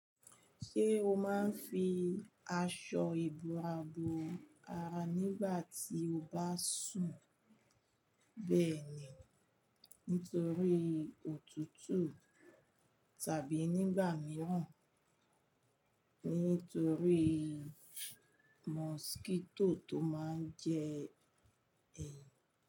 Ṣé o máa ń fi aṣọ ìbò àbò ara nígbà tí o bá sùn? Bẹ́ẹ̀ni, nítorí òtútù tàbí nígbà mìíràn, nítorí mọsíkíto tó máa ń jẹ ẹ̀.